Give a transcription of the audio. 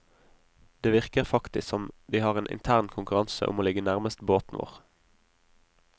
Det virker faktisk som de har en intern konkurranse om å ligge nærmest båten vår.